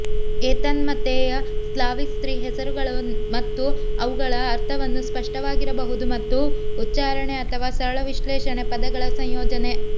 ಏತನ್ಮಧ್ಯೆ ಸ್ಲಾವಿಕ್ ಸ್ತ್ರೀ ಹೆಸರುಗಳು ಮತ್ತು ಅವುಗಳ ಅರ್ಥವನ್ನು ಸ್ಪಷ್ಟವಾಗಿರಬಹುದು ತಮ್ಮ ಉಚ್ಚಾರಣೆ ಅಥವಾ ಸರಳ ವಿಶ್ಲೇಷಣೆ ಪದಗಳ ಸಂಯೋಜನೆ